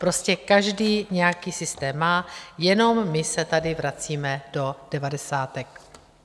Prostě každý nějaký systém má, jenom my se tady vracíme do devadesátek.